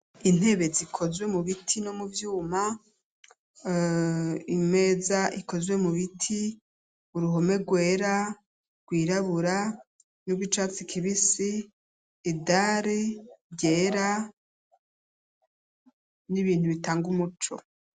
intebe zikozwe mu biti no mubyuma ,imeza ikozwe mu biti uruhome rwera rwirabura n'ubwicatsi kibisi idari ryera ,n'ibintu bitanga umuco.